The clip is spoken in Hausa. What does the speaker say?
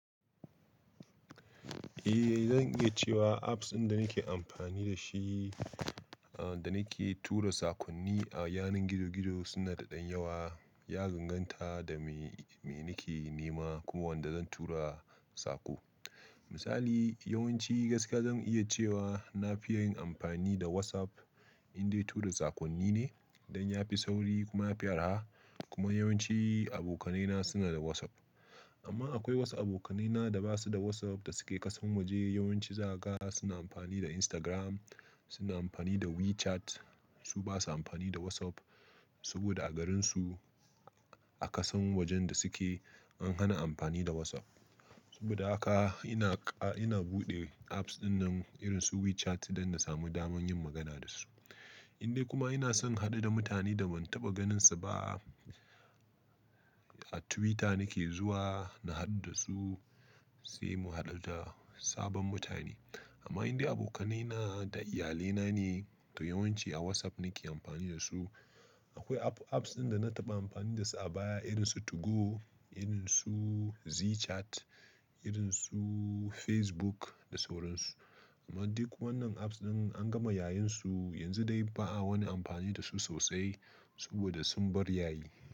Eh, zan iya cewa apps ɗin da nake amfani da shi, ah, da nake tura sakonni a yanan gizo gizo suna da ɗan yawa, ya danganta da me, me nake nema ko wanda zan tura sako. Misali, yawanci gaskiya zan iya cewa na fi ya yin amfani da WhatsApp in dai tura sakonni ne, don ya fi sauri kuma ya fi arha. Kuma yawanci abokanaina suna da WhatsApp. Amma akwai wasu abokanaina da ba su da WhatsApp da suke kasan waje, yawanci za ka ga suna amfani da Instagram, suna amfani da WeChat. Su ba sa amfani da WhatsApp saboda a garinsu, a kasan wajen da suke an hana amfani da WhatsApp. Saboda haka ina ƙa-- ina buɗe apps dinnan irin su WeChat don na sami daman yin magana da su. In dai kuma ina son inhaɗu da mutane da ban taɓa ganinsu ba, a Twitter nake zuwa na haɗu da su, sai mu haɗu da sabon mutane. Amma in dai abokanaina da iyalaina ne, to yawanci a WhatsApp nake amfani da su. Akwai app-apps ɗin da na taɓa amfani da su a baya irin su 2go, irin su Zeechat, irin su Facebook da sauran su. Amma duk wannan apps ɗin an gama yayun su, yanzu dai ba a wani amfani da su sosai saboda sun bar yayi.